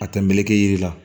A tɛ meleke yiri la